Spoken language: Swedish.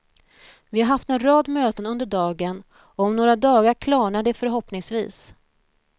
Vi har haft en rad möten under dagen och om några dagar klarnar det förhoppningsvis.